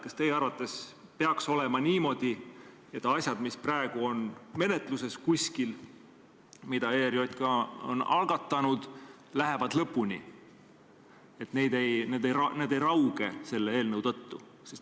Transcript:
Kas teie arvates peaks olema niimoodi, et asjad, mis praegu on kuskil menetluses ja mida ERJK on algatanud, lähevad lõpuni, et need ei rauge selle eelnõu tõttu?